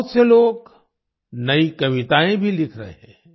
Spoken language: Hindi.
बहुत से लोग नई कविताएं भी लिख रहे हैं